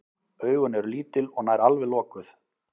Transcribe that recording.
Augun eru lítil og nær alveg lokuð.